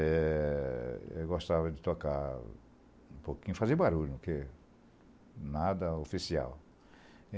É. Eu gostava de tocar um pouquinho, fazer barulho, porque nada oficial.